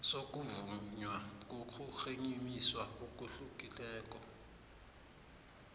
sokuvunywa kokurhemisa okuhlukeneko